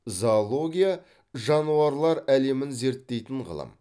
зоология жануарлар әлемін зерттейтін ғылым